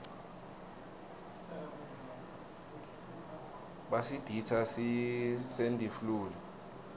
basidita sisentif lula